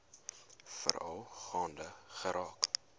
veral gaande geraak